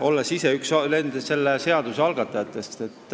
olles ise olnud üks selle seaduse algatajatest.